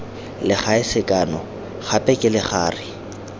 legae sekano gape ke legare